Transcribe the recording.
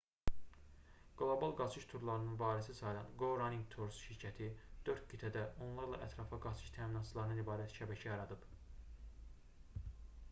qlobal qaçış turlarının varisi sayılan go running tours şirkəti 4 qitədə onlarla ətrafa qaçış təminatçılarından ibarət şəbəkə yaradıb